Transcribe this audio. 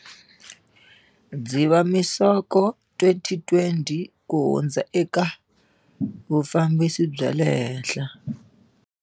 Dziva misoko 2020 ku hundza eka vufambisi bya le henhla.